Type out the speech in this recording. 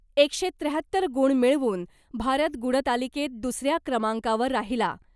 एकशे त्र्याहत्तर गुण मिळवून भारत गुणतालिकेत दुसऱ्या क्रमांकावर राहिला .